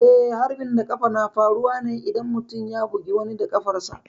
Eh, harbin da ƙafa na faruwa ne idan mutum ya bugi wani da ƙafarsa.